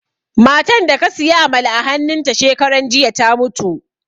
Matan da ka siya amala a hannun ta shekaran jiya ta mutu